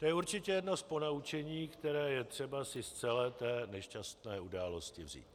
To je určitě jedno z ponaučení, které je třeba si z celé té nešťastné události vzít.